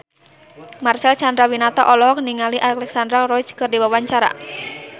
Marcel Chandrawinata olohok ningali Alexandra Roach keur diwawancara